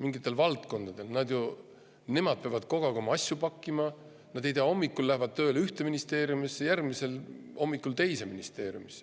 mingite valdkondade kallal, peavad kogu aeg oma asju pakkima, nad ei tea, hommikul lähevad tööle ühte ministeeriumisse, järgmisel hommikul teise ministeeriumisse.